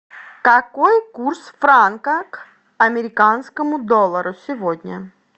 какой курс франка к американскому доллару сегодня